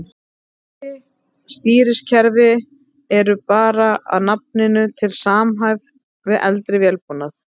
Nýrri stýrikerfi eru bara að nafninu til samhæfð við eldri vélbúnað.